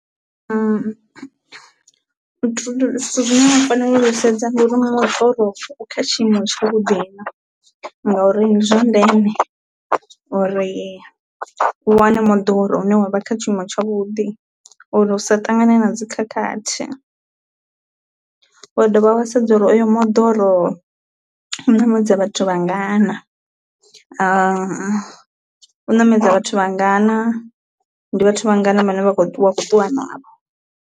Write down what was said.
Zwithu zwine na faneli u zwi sedza ndi uri moḓoro u kha tshiimo tsha vhuḓi na ngauri ndi zwa ndeme uri u wane moḓoro une wavha kha tshiimo tsha vhuḓi uri u sa ṱangane na dzi khakhathi, wa dovha wa sedza uri oyo moḓoro u ṋamedza vhathu vhangana u namedza vhathu vhangana ndi vhathu vhangana vhane vha kho ṱuwa ṱuwa navho.